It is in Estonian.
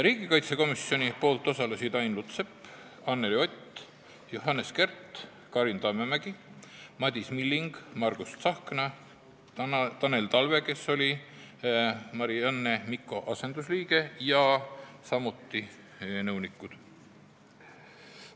Riigikaitsekomisjonist osalesid Ain Lutsepp, Anneli Ott, Johannes Kert, Karin Tammemägi, Madis Milling, Margus Tsahkna, Tanel Talve, kes oli Marianne Mikko asendusliige, ja samuti nõunikud.